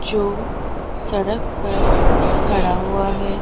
जो सड़क पर खड़ा हुआ है।